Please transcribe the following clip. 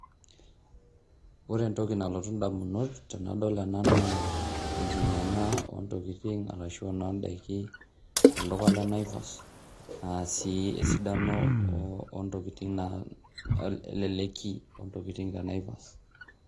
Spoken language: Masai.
ore entoki nalotu damunot enadol ena naa enkiyiang'a oodaikin tolduka le naivas naa ore esidano naa eleleki oontokitin te naivas .